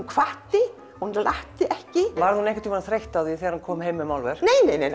hvatti en latti ekki var hún einhvern tímann þreytt á því þegar hann kom heim með málverk